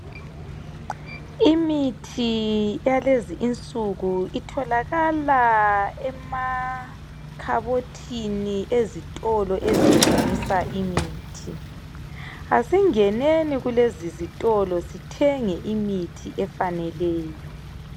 Imithi yalezi insuku itholakala emakhabothini ezitolo ezithengisa imithi. Asingeneni kulezizitolo sithenge imithi efaneleyo.